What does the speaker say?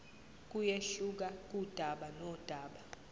kuyehluka kudaba nodaba